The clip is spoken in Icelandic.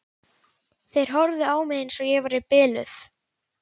Þeir horfðu á mig eins og ég væri biluð.